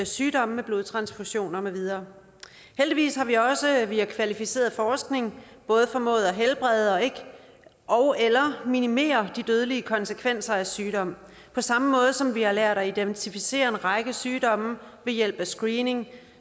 sygdomme ved blodtransfusioner med videre heldigvis har vi også via kvalificeret forskning både formået at helbrede ogeller minimere de dødelige konsekvenser af sygdom på samme måde som vi har lært at identificere en række sygdomme ved hjælp af screening